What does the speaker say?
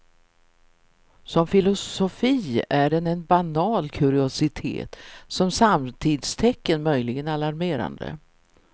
Som filosofi är den en banal kuriositet, som samtidstecken möjligen alarmerande.